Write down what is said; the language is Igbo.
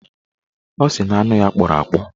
Ọ sị na anụ ya kpọrọ akpọ